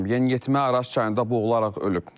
Yeniyetmə Araz çayında boğularaq ölüb.